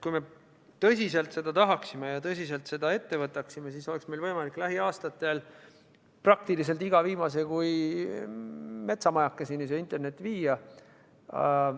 Kui me tõsiselt seda tahaksime ja tõsiselt selle ette võtaksime, siis meil oleks võimalik lähiaastatel praktiliselt igasse viimasesse kui metsamajakesse internet viia.